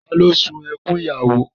Ta ni ó sun ẹkún ìyàwó?